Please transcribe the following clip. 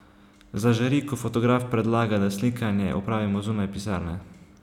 Zažari, ko fotograf predlaga, da slikanje opravimo zunaj pisarne.